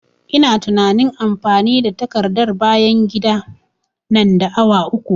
Ina tunain amfani da takardar bayan gida nan da awa uku